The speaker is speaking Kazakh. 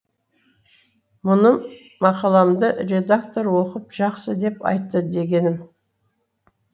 мұным мақаламды редактор оқып жақсы деп айтты дегенім